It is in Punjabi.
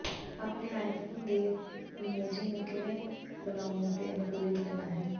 ਆਪਣੇ ਆਈਫੋਨ ਦੇ ਮੀਮੋਜੀ ਨੂੰ ਕਿਵੇਂ ਬਣਾਉਣਾ ਅਤੇ ਅਨੁਕੂਲਿਤ ਕਰਨਾ ਹੈ